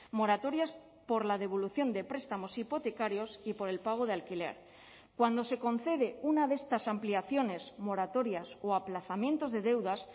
moratorias por la devolución de prestamos hipotecarios y por el pago de alquiler cuando se concede una de estas ampliaciones moratorias o aplazamientos de deudas